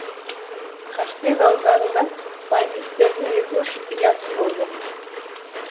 қастек ауданында бандиттардың екі үш ұясы болды